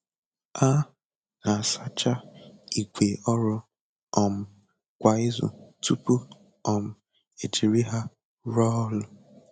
A na-asacha ìgwè ọrụ um kwa izu tupu um e jiri ha rụọ ọrụ.